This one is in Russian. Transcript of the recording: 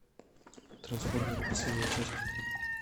трансформеры последняя часть